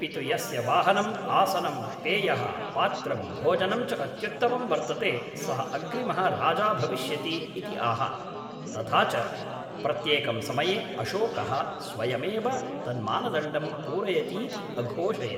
अपि तु यस्य वाहनम्, आसनं, पेयः, पात्रं, भोजनं च अत्युत्तमं वर्तते, सः अग्रिमः राजा भविष्यति इति आह, तथा च प्रत्येकं समये अशोकः स्वयमेव तन्मानदण्डं पूरयतीति अघोषयत्।